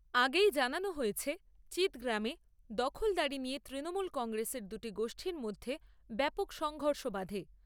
আগেই জানানো হয়েছে, চিৎগ্রামে দখলদারি নিয়ে তৃণমূল কংগ্রেসের দুটি গোষ্ঠীর মধ্যে ব্যাপক সংঘর্ষ বাধে।